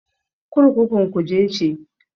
Kurkukun Kuje ce.